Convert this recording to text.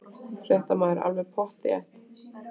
Fréttamaður: Alveg pottþétt?